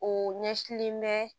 O ɲɛsilen bɛ